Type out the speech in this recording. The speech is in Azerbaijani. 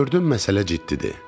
Gördüm məsələ ciddidir.